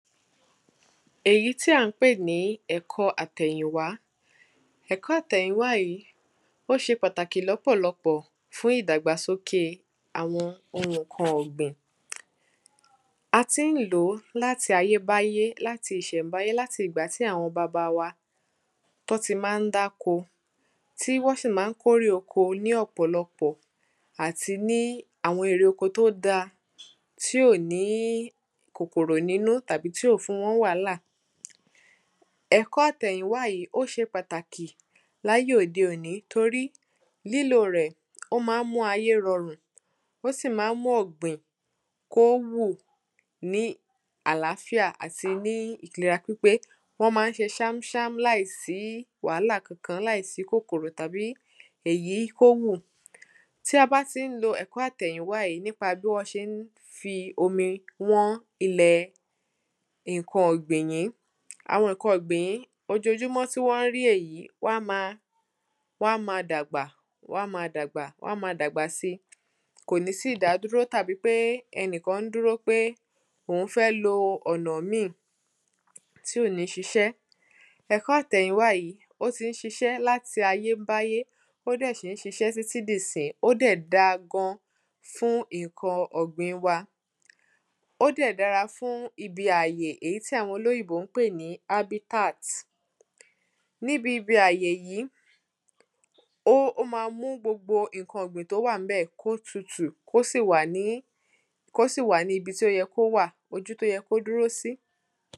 Èyí tí à ń pè ní ẹ̀kọ́ àtẹ̀yìnwá Ẹ̀kọ́ àtẹ̀yìnwá yìí ó ṣe pàtàkì lọ́pọ̀lọpọ̀ fún ìdàgbàsókè àwọn nǹkan ọ̀gbìn A tí ń lò láti ayébáyé láti ìṣẹ̀ǹbáyé láti ìgbà tí àwọn bàbá wa tí wọ́n ti ma ń dáko tí wọ́n sì ma ń kó èrè oko ní ọ́pọ̀lọpọ̀ àti ní àwọn èrè oko tí ó da tí ò ní kòkòrò nínú tàbí tí ò fún wọn ní wàhálà Ẹ̀kọ́ àtẹ̀yìnwá yìí ó ṣe pàtàkì ní ayé òde òní torí lílò rẹ̀ ó ma ń mú ayé rọrùn ó sì ma mú ọ̀gbìn kí ó hù ní àláàfíà àti ní ìlera pípé Wọ́n ma ń ṣe ṣámṣám láìsí wàhálà Kankan láìsí kòkòrò tàbí ìyí kí ó wù Tí a bá tí ń lo ẹ̀kọ́ àtẹ̀yìnwá yí nípa bí wọ́n ṣe ń fi omi wán nǹkan ọ̀gbìn yìí Àwọn nǹkan ọ̀gbìn yìí ojojúmọ́ tí wọ́n rí èyí wọ́n á máa wọ́n á máa dàgbà wọ́n á ma dàgbà wọ́n á máa dàgbà si Kò ní sí ìdádúró tàbí pé ẹni kan ń dúró pé ẹni kan dúró pé òhun fẹ́ lo ọ̀nà míì tí ò ní ṣiṣẹ́ Ẹ̀kọ́ àtẹ̀yìnwá yìí ó tí ń ṣiṣé láti ayébáyé ó dẹ̀ sì ń ṣiṣẹ́ títí di ìsìnyí Ó dẹ̀ da gan fún nǹkan ọ̀gbìn wa Ó dẹ̀ dára fún ibi àyè ìyí tí àwọn olóyìnbó ń pè ní habitat Níbi àyè yìí ó ma mú gbogbo nǹkan ọ̀gbìn tí ó wà níbẹ̀ kí ó tutu kí ó sì wà ní ibi tí ó yẹ kí ó wà ibi tí ó yẹ kí ó dúró sí